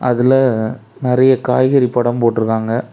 அதுல நெறய காய்கறி படம் போட்டுருக்காங்க.